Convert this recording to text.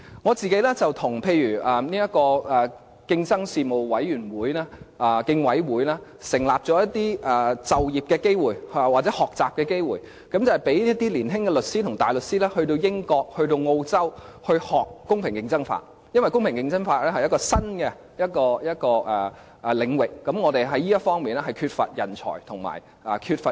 我個人與競爭事務委員會創造了一些就業機會或學習機會，讓年青的律師和大律師到英國、澳洲學習公平競爭法，因為公平競爭法是新領域，而香港在這方面缺乏人才和經驗。